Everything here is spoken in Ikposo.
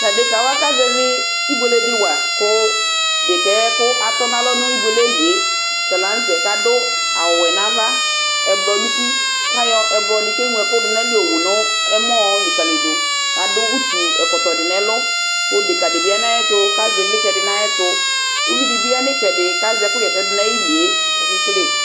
Tʊ adekawa kazɛvɩ ɩbluele di wa kʊ dekɛkʊ atɔnʊ alɔ nʊ ɩbluele yɛlɩe talanʊtɛ adʊ awʊfue dɩ nʊ ava kʊ adɩ ɛblɔdɩ nʊ ʊtɩ kʊ ayɔ ɛblɔdɩ kʊ eŋlo ɛkʊdʊnʊ ayʊ ava yɔwʊ nʊ ɛmɔ lɩkalɩdʊ adʊ ʊtʊ ɔkɔtɔdɩ nʊ ɛlʊ kʊ dekadɩbɩ ya nʊ ayʊ ɛtʊ kʊ azɛ ivlitsɛdɩ nʊ ayʊ ɛtʊ kʊ ʊvɩ dɩbɩ yanʊ itsɛdi kʊ azɛ ɛkʊzɛ ɛsɛ dʊ kʊ ayɩ kʊ akekele ɛsɛ